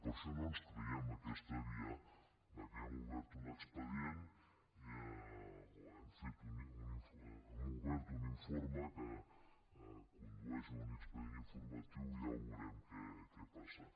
per això no ens creiem aquesta via que hem obert un expedient o hem obert un informe que condueix a un expedient informatiu i ja veurem què passa